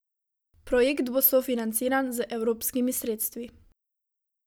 Projekt bo sofinanciran z evropskimi sredstvi.